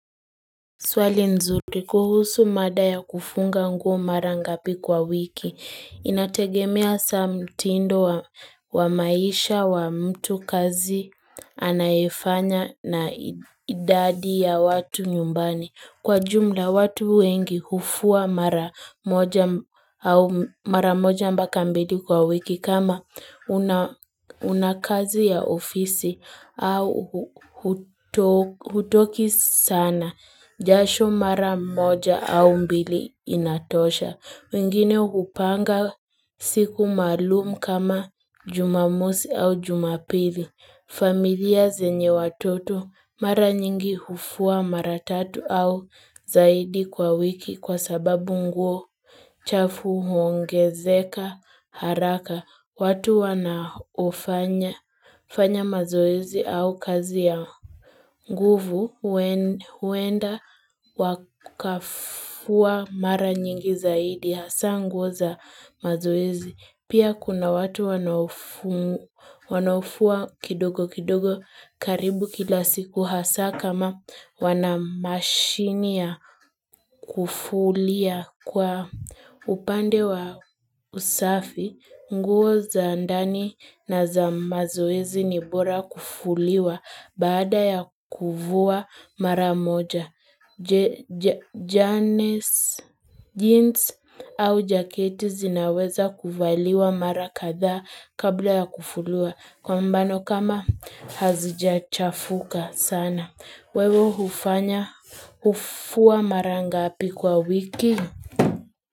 Swali nzuri kuhusu mada ya kufunga nguo mara ngapi kwa wiki. Inategemea hasa mtindo wa maisha wa mtu, kazi anayoifanya na idadi ya watu nyumbani. Kwa jumla watu wengi hufua mara moja mara moja mpaka mbili kwa wiki kama una kazi ya ofisi au hutoki sana. Jasho mara moja au mbili inatosha. Wengine hupanga siku maalum kama jumamosi au jumapili. Familia zenye watoto mara nyingi hufua mara tatu au zaidi kwa wiki kwa sababu nguo chafu huongezeka haraka. Watu wanaofanya mazoezi au kazi ya nguvu huenda wakafua mara nyingi zaidi hasaa nguo za mazoezi. Pia kuna watu wanaofua kidogo kidogo karibu kila siku hasaa kama wana mashini ya kufulia kwa upande wa usafi. Nguo za ndani na za mazoezi ni bora kufuliwa baada ya kuvua mara moja. Jeans au jaketi zinaweza kuvaliwa mara kadha kabla ya kufuwa kwa mfano kama hazijachafuka sana. Wewe hufanya hufua mara ngapi kwa wiki?